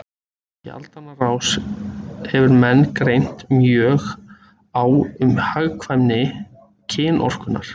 Í aldanna rás hefur menn greint mjög á um hagkvæmni kynorkunnar.